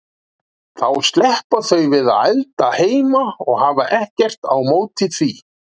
Þá sleppa þau við að elda heima og hafa ekkert á móti því.